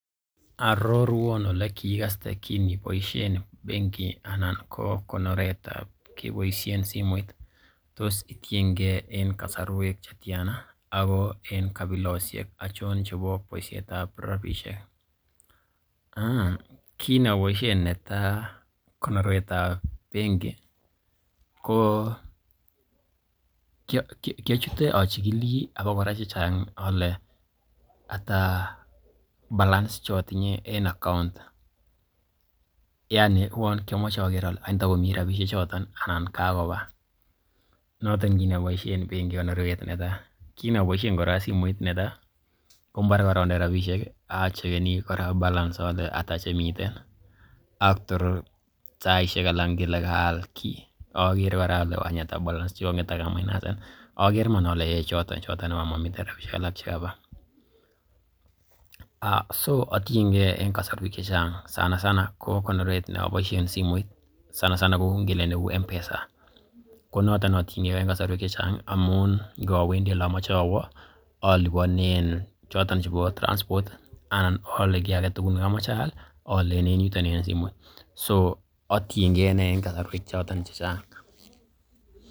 Arorwan ole kiikaste kin iboisien benki anan ko konoretab keboisien simoit? Tos itienge en kasarwek che tyana ako en kabilosiek achon che bo boisietab rabisiek? Kin aboisien netai konorwet ab benki ko kiochute achigili abakora chechang ole ata balance che otinye en account yaani uwon kiamoche oger ole ng'wan tagomi rabishek choton anan kagoba noton kiit kinoboisien benki en konorwet netai. Kin aboisien simoit kora netai, ko mbore konde rabishek i, acheckeni kora balance ole ata rabishek che miten ak tor saishek alak anan ingele kaal kiy ogere kora ole ng'wany ata balance che kong'et ak a mainasen. Oger iman ole aga choton, choton iman momi rabishek alak chekaba. So atienge en kasarwek che chang sanasana ko konorwet ne aboisien simoit sanasana ko neu ngele neu M-Pesa. Ko noton ne otienge en kasarwek che chang amun ingowendi ole amoche awo oliponen choton chebo transport anan oole kiy age tugul ne komoche aal aalen en yuton en simoit so atienge iney en kasarwek choton che chang.